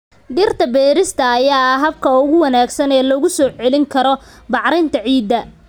Dhirta beerista ayaa ah habka ugu wanaagsan ee lagu soo celin karo bacrinta ciidda.